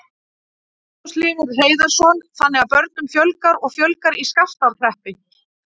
Magnús Hlynur Hreiðarsson: Þannig að börnum fjölgar og fjölgar í Skaftárhreppi?